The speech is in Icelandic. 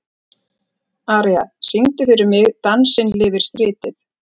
Aría, syngdu fyrir mig „Dansinn lifir stritið“.